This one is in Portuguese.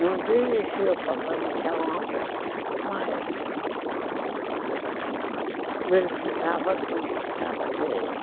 Não dirigia propriamente a obra, mas verificava tudo, se estava direito.